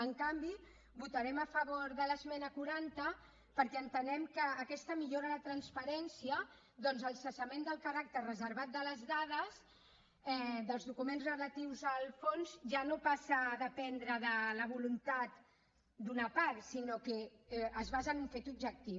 en canvi votarem a favor de l’esmena quaranta perquè entenem que aquesta millora la transparència ja que el cessament del caràcter reservat de les dades dels documents relatius al fons ja no passa a dependre de la voluntat d’una part sinó que es basa en un fet objectiu